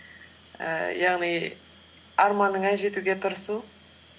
ііі яғни арманыңа жетуге тырысу